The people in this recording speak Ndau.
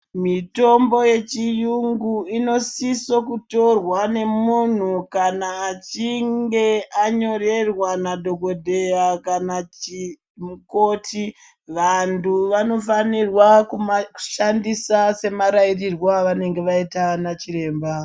Mitombo yechiyungu inosiso kutorwa nemunhu kana achinge anyorerwa nadhokodheya kana mukoti. Vantu vanofanirwa kumashandisa semarairirwe avangenge vaita nachiremba.